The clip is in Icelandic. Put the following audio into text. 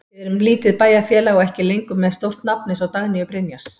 Við erum lítið bæjarfélag og ekki lengur með stórt nafn eins og Dagnýju Brynjars.